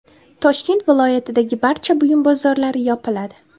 Toshkent viloyatidagi barcha buyum bozorlari yopiladi.